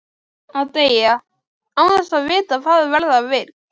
Að deyja, án þess að vita hvað verða vill.